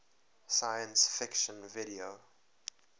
science fiction video